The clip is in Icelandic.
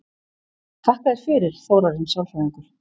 Þakka þér fyrir, Þórarinn sálfræðingur